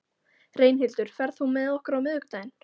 Reynhildur, ferð þú með okkur á miðvikudaginn?